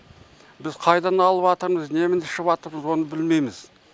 біз қайдан алып атырмыз немене ішіпатырмыз оны білмейміз